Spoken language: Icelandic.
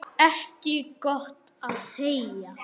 Ekki gott að segja.